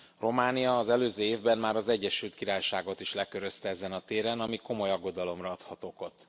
Románia az előző évben már az Egyesült Királyságot is lekörözte ezen a téren, ami komoly aggodalomra adhat okot.